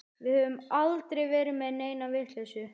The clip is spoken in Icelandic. Við höfum aldrei verið með neina vitleysu.